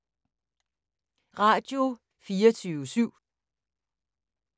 Radio24syv